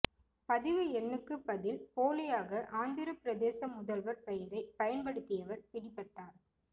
பதிவு எண்ணுக்கு பதில் போலியாக ஆந்திர பிரதேச முதல்வர் பெயரை பயன்படுத்தியவர் பிடிபட்டார்